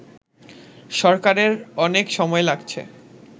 সরকারের অনেক সময় লাগছে